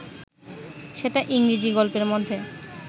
সেটা ইংরেজী গল্পের মধ্যে